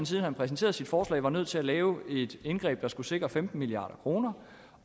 siden han præsenterede sit forslag nødt til at lave et indgreb der skulle sikre femten milliard kr